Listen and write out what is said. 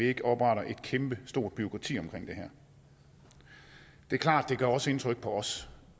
ikke opretter et kæmpestort bureaukrati omkring det her det er klart at det også gør indtryk på os